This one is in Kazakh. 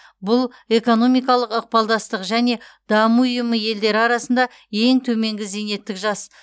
бұл экономикалық ықпалдастық және даму ұйымы елдері арасында ең төменгі зейнеттік жас